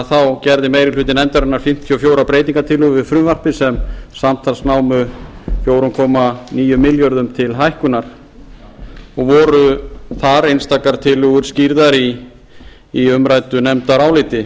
þá gerði meiri hluti nefndarinnar fimmtíu og fjórar breytingartillögur við frumvarpið sem samtals námu fjóra komma níu milljörðum til hækkunar og voru þar einstaka tillögur skýrðar í umræddu nefndaráliti